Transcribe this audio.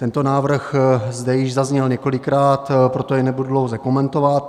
Tento návrh zde již zazněl několikrát, proto jej nebudu dlouze komentovat.